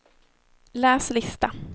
läs lista